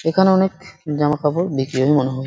সেখানে অনেক জামাকাপড় বিক্রি হয় মনে হয় ।